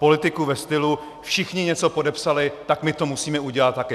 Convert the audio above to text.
Politiku ve stylu: Všichni něco podepsali, tak my to musíme udělat taky.